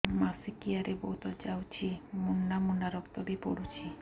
ମାସିକିଆ ରେ ବହୁତ ଯାଉଛି ମୁଣ୍ଡା ମୁଣ୍ଡା ରକ୍ତ ବି ପଡୁଛି